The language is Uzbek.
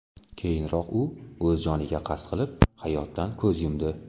Keyinroq u o‘z joniga qasd qilib, hayotdan ko‘z yumdi .